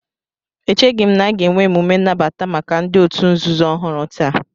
Echeghị m na a ga-enwe emume nnabata maka ndị òtù nzuzo ọhụrụ taa